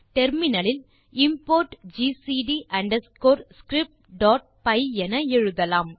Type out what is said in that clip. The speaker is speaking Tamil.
டெர்மினல் இல் இம்போர்ட் ஜிசிடி அண்டர்ஸ்கோர் scriptபை என எழுதலாம்